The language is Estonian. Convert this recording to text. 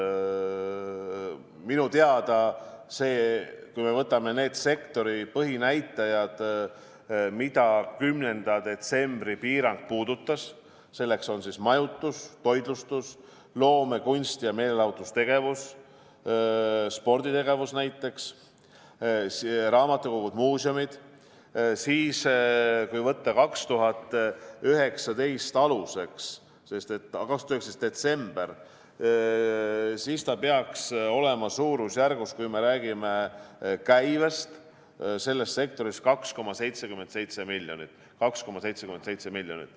Minu teada, kui me võtame need sektori põhinäitajad, mida 10. detsembri piirang puudutas, näiteks majutus, toitlustus, loome-, kunsti- ja meelelahutustegevus, sporditegevus, raamatukogud ja muuseumid, siis, kui võtta aluseks 2019 detsember, peaks raha olema, kui me räägime käibest, selles sektoris 2,77 miljonit.